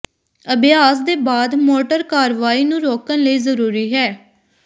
ਅਭਿਆਸ ਦੇ ਬਾਅਦ ਮੋਟਰ ਕਾਰਵਾਈ ਨੂੰ ਰੋਕਣ ਲਈ ਜ਼ਰੂਰੀ ਹੈ